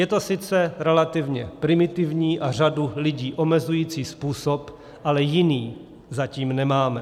Je to sice relativně primitivní a řadu lidí omezující způsob, ale jiný zatím nemáme.